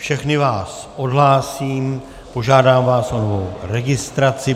Všechny vás odhlásím, požádám vás o novou registraci.